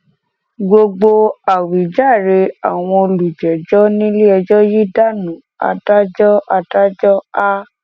gbogbo àwíjàre àwọn olùjẹjọ níléẹjọ yìí dànù adájọ adájọ a